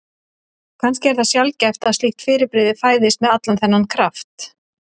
Kannski er það sjaldgæft að slíkt fyrirbrigði fæðist með allan þennan kraft.